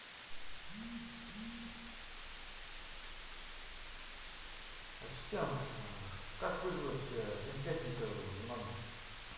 ассистент как вызвать сантехника в номер